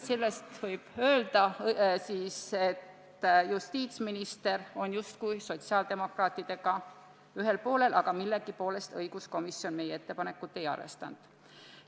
" Selle põhjal võib öelda, et justiitsminister on sotsiaaldemokraatidega justkui ühel poolel, aga õiguskomisjon meie ettepanekut millegipärast ei arvestanud.